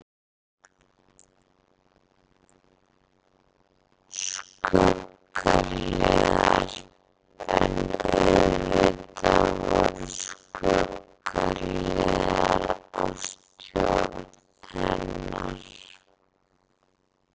Skuggahliðar En auðvitað voru skuggahliðar á stjórn hennar.